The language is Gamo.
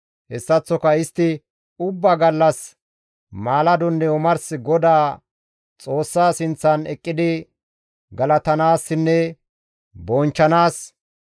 Hessaththoka istti ubbaa gallas maaladonne omars Godaa Xoossa sinththan eqqidi galatanaasinne bonchchanaas,